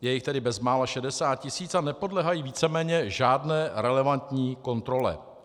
Je jich tedy bezmála 60 tisíc a nepodléhají víceméně žádné relevantní kontrole.